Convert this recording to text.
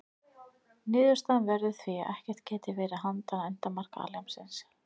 Niðurstaðan verður því að ekkert geti verið handan endamarka alheimsins.